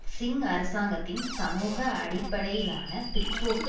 சிங் அரசாங்கத்தின் சமூக அடிப்படையிலான பிற்போக்கு